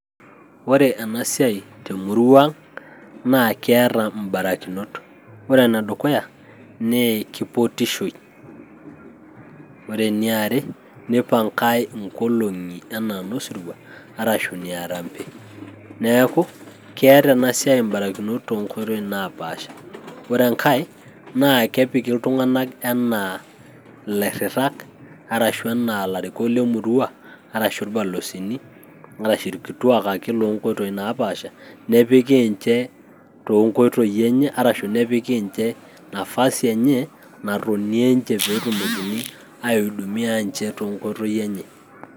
Ore ena siai temurua ang' naa keeta ibarakinot, ore ene dukaya naa keipotishoi, ore eniare naa kepangae enkolong'i earambe. Neaku keeta ena siai ebarakinot too nkoitoi napaasha , ore engae naa kepiki iltung'anak enaa ilairritak enaa ilarikok lemurua arashu irbosini arashu irkituak ake iyie loo nkotoii napaasha nepiki inche too nkoitoi enye arashu nepiki enche afasi enye peetumokini aidumia enche toonkoitoi enye.